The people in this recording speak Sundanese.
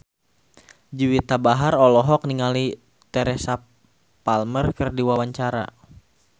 Juwita Bahar olohok ningali Teresa Palmer keur diwawancara